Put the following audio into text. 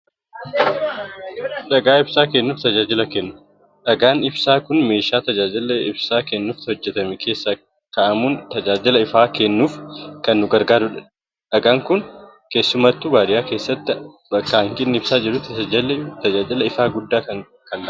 Dhagaa ibsaa kennuuf tajaajila kennu. Dhagaan ibsaa kun meeshaa tajaajila ibsaa kennuuf hojjetame keessa kaa'amuun tajaajila ifaa kennuuf kan nu gargaarudha. Dhagaan kun keessumattuu baadiyaa keessatti bakka hanqinni ibsaa jirutti tajaajila ifaa guddaa kan laatudha.